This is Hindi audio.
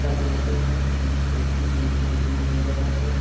टमाटर की खेती देखने को मिल रहा है।